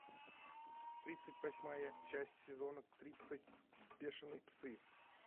тридцать восьмая часть сезона тридцать бешеные псы